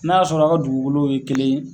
N'a y'a sɔrɔ a ka dugukolow ye kelen ye